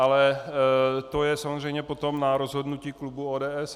Ale to je samozřejmě potom na rozhodnutí klubu ODS.